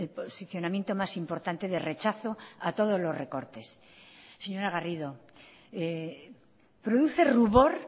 posicionamiento más importante de rechazo a todos los recortes señora garrido produce rubor